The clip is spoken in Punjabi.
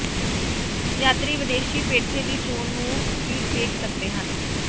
ਯਾਤਰੀ ਵਿਦੇਸ਼ੀ ਪੇਠੇ ਦੀ ਚੋਣ ਨੂੰ ਵੀ ਵੇਖ ਸਕਦੇ ਹਨ